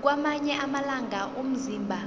kwamanye amalanga umzimba